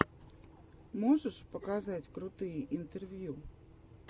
можешь показать крутые интервью